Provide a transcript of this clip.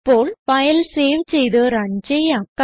ഇപ്പോൾ file save ചെയ്ത് run ചെയ്യാം